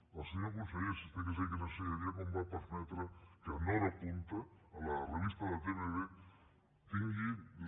al senyor conseller si estigués aquí li ensenyaria com va permetre que en hora punta a la revista de l’atmb tingui la